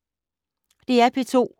DR P2